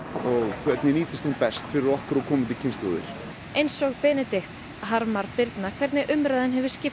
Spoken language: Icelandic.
hvernig nýtist hún best fyrir komandi kynslóðir eins og Benedikt harmar Birna hvernig umræðan hefur skipt